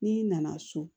N'i nana so